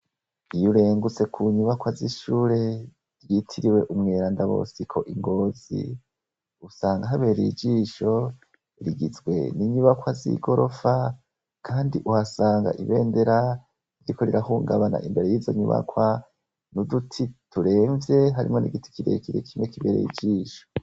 Iyo urengutse ku nyubakwa z'ishure ryitiriwe Umweranda Bosico i Ngozi, usanga habereye ijisho hagizwe n'inyubakwa z'igorofa kandi uhasanga ibendera ririko rirahungabana imbere y'izo nyubakwa, n'uduti turemvye harimwo n'igiti kirekire kimwe kibereye ijisho.